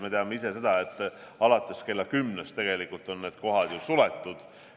Me teame seda, et alates kella 22-st on need kohad ju suletud.